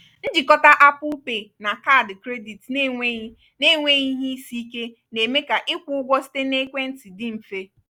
njikọta apple pay na kaadị kredit n’enweghị n’enweghị ihe isi ike na-eme ka ịkwụ ụgwọ site na ekwentị dị mfe